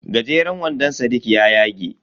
Gajeran wandon sadiq ya yage.